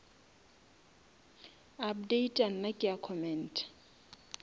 updata nna ke a commenta